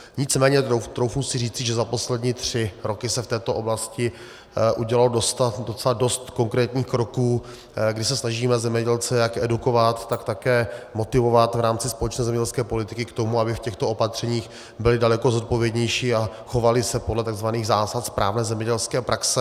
Nicméně troufnu si říci, že za poslední tři roky se v této oblasti udělalo docela dost konkrétních kroků, kdy se snažíme zemědělce jak edukovat, tak také motivovat v rámci společné zemědělské politiky k tomu, aby v těchto opatřeních byli daleko zodpovědnější a chovali se podle tzv. zásad správné zemědělské praxe.